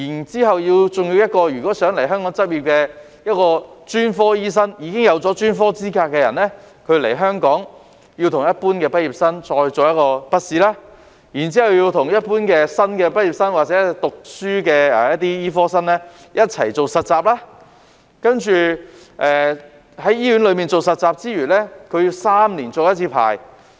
此外，如果專科醫生想到香港執業，而他已經有專科資格，但在香港卻須與一般畢業生一樣應考筆試，然後又須與一般新的畢業生或醫科生一同做實習，在醫院實習之餘，還須3年續牌一次。